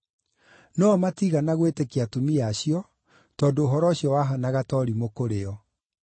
No-o matiigana gwĩtĩkia atumia acio, tondũ ũhoro ũcio wahaanaga ta ũrimũ kũrĩ o.